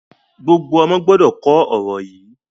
Gbogbo ọ̀mọ gbọdọ̀ kò ọ̀rọ̀ yí!